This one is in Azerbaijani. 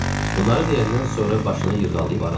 Bunları deyəndən sonra başını yırğalayıb aralandı.